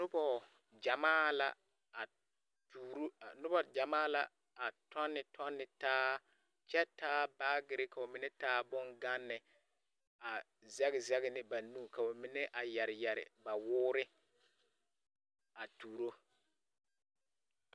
Noba gyamaa la a tuuro a, noba gyamaa la a tͻnne tͻnne taa kyԑ taa baagere, ka ba mine taa boŋganne a zԑge zԑge ne ba nu ka ba mine a yԑre yԑre ba woore a tuuro.